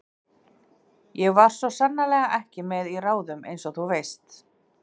Ég var svo sannarlega ekki með í ráðum einsog þú veist.